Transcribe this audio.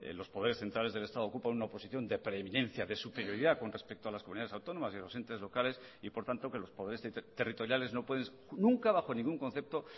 los poderes centrales del estado ocupan una posición de preeminencia de superioridad con respecto a las comunidades autónomas y los entes locales y por tanto que los poderes territoriales no pueden nunca bajo ningún concepto